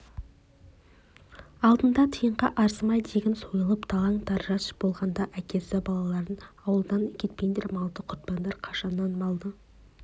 алдында тиынға арзымай тегін сойылып талан-тараж болғанда әкесі балаларым ауылдан кетпеңдер малды құртпаңдар қашаннан малы